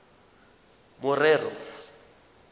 morero